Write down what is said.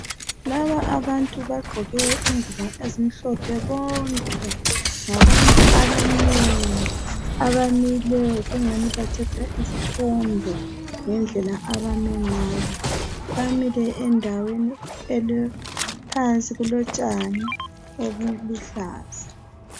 Laba abantu bagqoke ingubo ezimhlophe bonke ngabantu abanengi abamileyo kungani bathatha isithombe ngendlela abame ngayo bamile endaweni phansi elotshani obuluhlaza